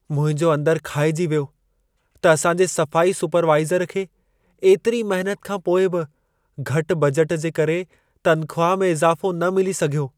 मुंहिंजो अंदर खाइजी वियो त असांजे सफ़ाई सुपरवाइज़र खे एतिरी महिनत खां पोइ बि घटि बजट जे करे तनख़्वाह में इज़ाफ़ो न मिली सघियो।